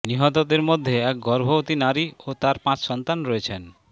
নিহতদের মধ্যে এক গর্ভবতী নারী ও তার পাঁচ সন্তান রয়েছেন